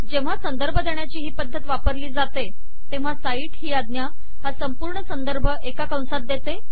जेव्हा संदर्भ देण्याची हि पद्धत वापरली जाते तेव्हा साइट हि आज्ञा हा संपूर्ण संदर्भ एका कंसात देते